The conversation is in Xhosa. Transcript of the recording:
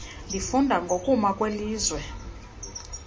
ndifunda ngokuma kwelizwe